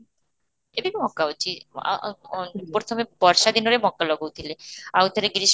ଏବେ ବି ମକା ଅଛି, ଆଃ ଆଃ ଅଃ ପ୍ରଥମେ ବର୍ଷ ଦିନରେ ମକା ଲଗଉ ଥିଲେ, ଆଉ ଥରେ ଗ୍ରୀଷ୍ମ